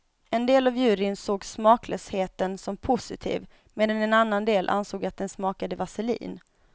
En del av juryn såg smaklösheten som positiv, medan en annan del ansåg att den smakade vaselin.